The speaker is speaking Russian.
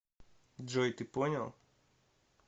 джой ты понял